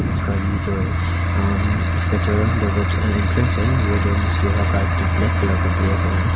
उसका ये जो है अम इसका जो है दरवाजा इंट्रेंस है वो जो इस लोहा का एक ठो ब्लैक कलर का बड़ा सा है।